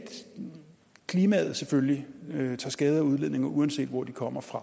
klimaet selvfølgelig tager skade af udledninger uanset hvor de kommer fra